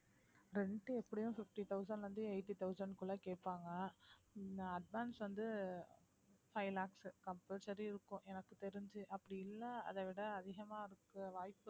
rent எப்படியும் fifty thousand ல இருந்து eighty thousand குள்ள கேப்பாங்க இந்த advance வந்து five lakhs compulsory இருக்கும் எனக்கு தெரிஞ்சு அப்படி இல்ல அதை விட அதிகமா இருக்க வாய்ப்பு இருக்கு